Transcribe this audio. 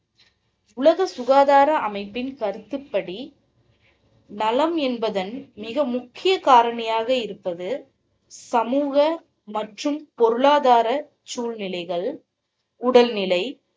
உலக சுகாதார அமைப்பின் கருத்துப்படி நலம் என்பதன் மிக முக்கிய காரணியாக இருப்பது சமூக மற்றும் பொருளாதார சூழ்நிலைகள், உடல் நிலை